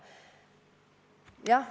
Jah.